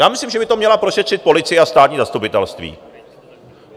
Já myslím, že by to měla prošetřit policie a Státní zastupitelství.